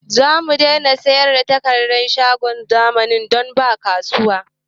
Zamu daina sayar da takardar a shagon zamani don ba kasuwa